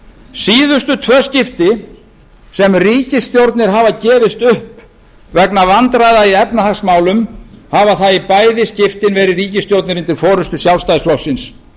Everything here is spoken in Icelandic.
síðustu tvö skipti sem ríkisstjórnir hafa gefist upp vegna vandræða í efnahagsmálum hafa það í bæði skiptin verið ríkisstjórnir undir forustu sjálfstæðisflokksins